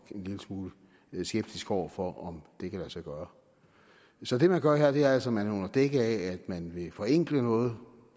en lille smule skeptisk over for om det kan lade sig gøre så det man gør her er altså at man under dække af at man vil forenkle noget